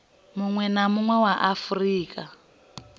munwe na munwe wa afurika